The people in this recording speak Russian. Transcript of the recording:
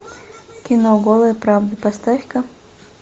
кино голая правда поставь ка